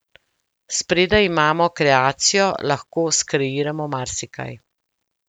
Spredaj imamo kreacijo, lahko skreiramo marsikaj.